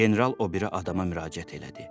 General o biri adama müraciət elədi.